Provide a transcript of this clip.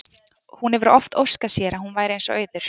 Hún hefur oft óskað sér að hún væri eins og Auður.